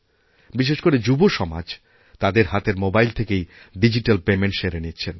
বিশেষ করে যুব সমাজ তাদের হাতের মোবাইল থেকেইডিজিট্যাল পেমেন্ট সেরে নিচ্ছেন